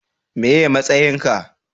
meye matsayin ka?